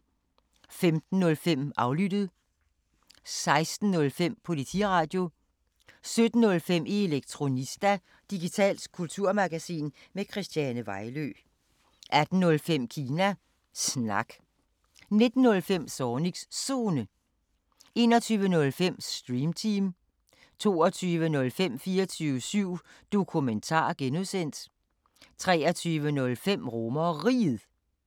15:05: Aflyttet 16:05: Politiradio 17:05: Elektronista – digitalt kulturmagasin med Christiane Vejlø 18:05: Kina Snak 19:05: Zornigs Zone 21:05: Stream Team 22:05: 24syv Dokumentar (G) 23:05: RomerRiget (G)